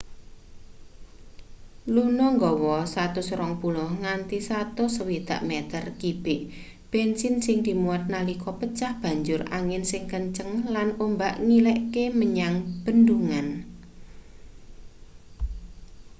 luno nggawa 120-160 meter kibik bensin sing dimuat nalika pecah banjur angin sing kenceng lan ombak ngilekke menyang bendungan